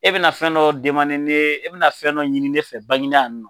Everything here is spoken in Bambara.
E bɛna fɛn dɔ ne e bɛna fɛn dɔ ɲini ne fɛ Banginda